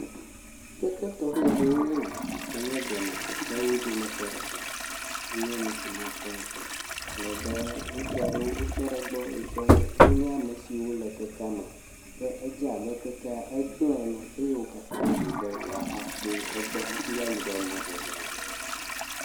Keke tɔxɛ aɖee nye eyi, yike nye blema kekewo dometɔ ɖeka, enye nu si nyakpɔ ŋutɔ, alebe ŋutsu aɖewo nye ame siwo tɔ ɖe egbɔ, wonye ame siwo le kekea me, ke edze abe kekea egblẽ ene eye wo katã woɖoe be yewoakpɔ egbɔ hafi ayi ɖe mɔzɔzɔa dzi.